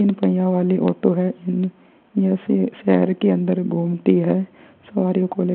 तीन पहिया वाली ऑटो है। यहँ श शहर के अंदर घूमती है सवारी को लेकर।